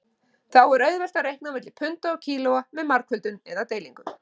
Þá er auðvelt að reikna á milli punda og kílóa með margföldun eða deilingu.